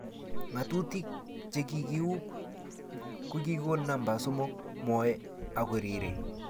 ngatuyik che kikieub ko kikonon namba somok mwoe ako rirei